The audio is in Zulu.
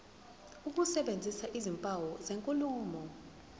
ukusebenzisa izimpawu zenkulumo